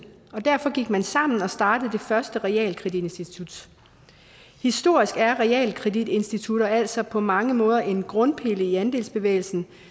og derfor gik man sammen og startede det første realkreditinstitut historisk er realkreditinstitutter altså på mange måder en grundpille i andelsbevægelsen